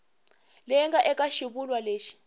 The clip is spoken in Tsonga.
leyi nga eka xivulwa lexi